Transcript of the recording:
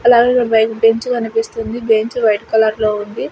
అలాగే బయట బెంచి కనిపిస్తుంది బెంచి వైట్ కలర్ లో ఉంది.